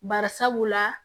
Bari sabula